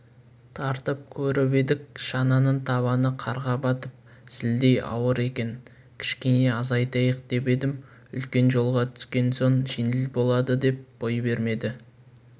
тартып көріп едік шаманың табаны қарға батып зілдей ауыр екен кішкене азайтайық деп едім үлкен жолға түскен соң жеңіл болады деп бой бермеді